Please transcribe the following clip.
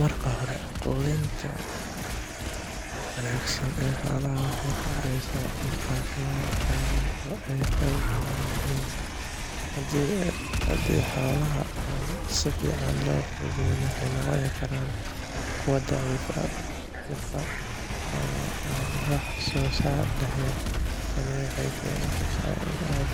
Marka hore, quudinta wanaagsan ee xoolaha waxay ka caawisaa inay caafimaad qabaan oo ay xoog badan yihiin. Haddii xoolaha aan si fiican loo quudin, waxay noqon karaan kuwo daciif ah, buka ama aan wax soo saar lahayn. Tani waxay keeni kartaa in ay